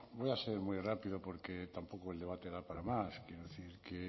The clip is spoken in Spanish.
voy a ser muy rápido porque tampoco el debate da para más quiero decir que